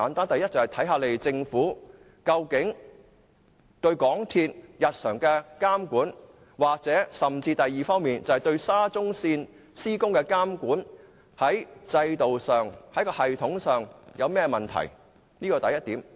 第一，政府對港鐵日常的監管出了甚麼問題，或對沙中線施工的監管在制度上、系統上出現甚麼問題？